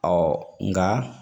nka